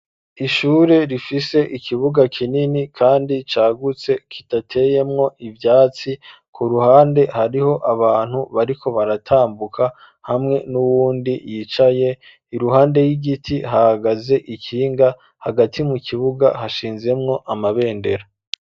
Ishure rifise ikibuga kinini kandi cagutse kidateyemwo ivyatsi ku ruhande hariho abantu bariko baratambuka hamwe nuwundi yicaye iruhande y'igiti hahagaze ikinga hagati mu kibuga hashinzemwo amabendera.